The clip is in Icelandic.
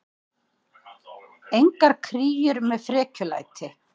Engar kríur með frekjulæti.